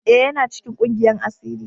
E,yana cikin ƙungiyan asiri.